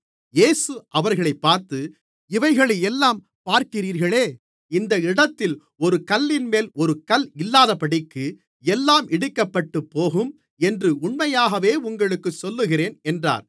இயேசு அவர்களைப் பார்த்து இவைகளையெல்லாம் பார்க்கிறீர்களே இந்த இடத்தில் ஒரு கல்லின்மேல் ஒரு கல் இல்லாதபடிக்கு எல்லாம் இடிக்கப்பட்டுப்போகும் என்று உண்மையாகவே உங்களுக்குச் சொல்லுகிறேன் என்றார்